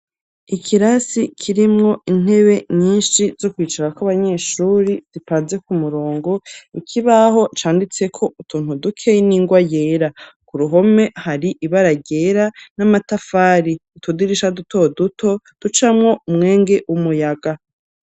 Ikirasi kirimwo intebe nyinshi, zo kwicarako abanyeshuri, zipanze ku murongo, ikibaho canditseko utuntu dukeyi n’ingwa yera; ku ruhome hari ibara ryera n'amatafari; utudirisha duto duto, ducamwo umwenge w'umuyaga.